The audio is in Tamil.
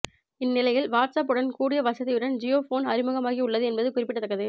இந்நிலையில் வாட்ஸ்ஆப் உடன் கூடிய வசதியுடன் ஜியோ போன் அறிமுகமாகி உள்ளது என்பது குறிப்பிடத்தக்கது